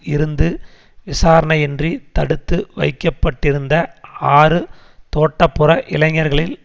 இருந்து விசாரணையின்றி தடுத்து வைக்க பட்டிருந்த ஆறு தோட்டப்புற இளைஞர்களில்